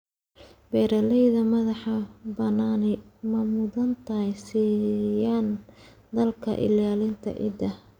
Beeralayda madax-bannaani ma mudnaanta siiyaan dadaalka ilaalinta ciidda.